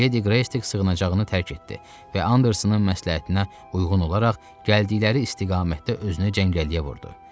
Ledi Qreystik sığınacağını tərk etdi və Andersonun məsləhətinə uyğun olaraq gəldikləri istiqamətdə özünü cəngəlliyə vurdu.